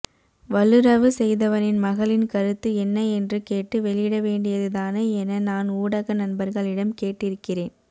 வல்லுறவு செய்தவனின் மகளின் கருத்து என்ன என்று கேட்டு வெளியிடவேண்டியதுதானே என நான் ஊடக நண்பர்களிடம் கேட்டிருக்கிறேன்